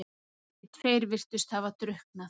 Hinir tveir virtust hafa drukknað.